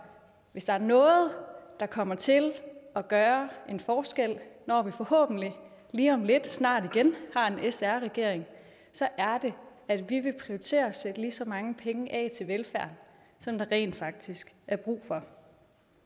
hvis der er noget der kommer til at gøre en forskel når vi forhåbentlig lige om lidt og snart igen har en s r regering er det at vi vil prioritere at sætte lige så mange penge af til velfærd som der rent faktisk er brug for